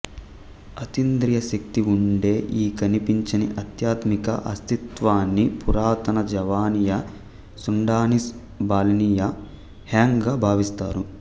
అతీంద్రియ శక్తి ఉండే ఈ కనిపించని ఆధ్యాత్మిక అస్తిత్వాన్ని పురాతన జావానీయ సుండానీస్ బాలినీయ హ్యాంగ్ గా భావిస్తారు